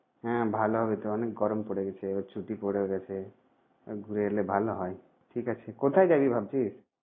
হ্যাঁ ভালো হবে তো অনেক গরম পরে গেছে, এবার ছুটিও পরে গেছে। ঘুরে এলে ভালো হয় ঠিক আছে। কোথায় যাবি ভাবছিস?